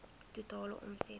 totale omset voor